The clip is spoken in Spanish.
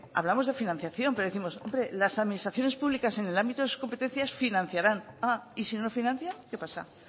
hablamos de financiación pero décimos hombre las administraciones públicas en el ámbito de sus competencias financiaran y si no lo financian qué pasa